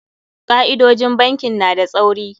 Ka'idojin bankin na da tsauri.